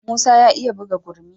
Musa ya iya buga gurmi.